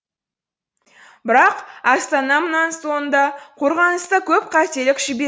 бірақ астана мұнан соң да қорғаныста көп қателік жіберді